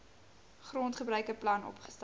grondgebruike plan opgestel